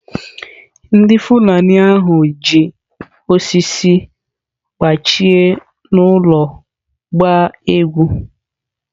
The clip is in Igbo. Ndị Fulani ahụ ji osisi gbachie n’olu gbaa egwu.